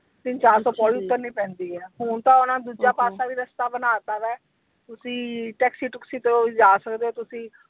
ਤਿੰਨ ਚਾਰਸੋ ਪੌੜੀ ਉਤਰਨੀ ਪੈਂਦੀ ਹੈ, ਹੁਣ ਤਾਂ ਓਹਨਾ ਨੇ ਦੂਜਾ ਪਾਸਾ ਵੀ ਰਸਤਾ ਬਣਾ ਤਾ ਵਾ, ਤੁਸੀਂ taxi ਟੁਕਸੀ ਤੋਂ ਵੀ ਜਾ ਸਕਦੇ ਹੋ ਤੁਸੀਂ।